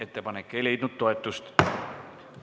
Ettepanek ei leidnud toetust.